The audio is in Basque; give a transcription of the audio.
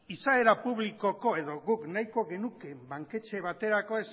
izaera publikoko edo guk nahiko genuke banketxe baterako